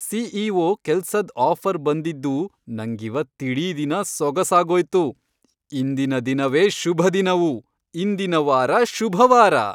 CEO. ಕೆಲ್ಸದ್ offer ಬಂದಿದ್ದು ನಂಗಿವತ್ತಿಡೀ ದಿನ ಸೊಗಸಾಗೋಯ್ತು! ಇಂದಿನ ದಿನವೇ ಶುಭದಿನವು... ಇಂದಿನ ವಾರ ಶುಭವಾರ!